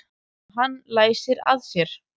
Og hann læsir að sér.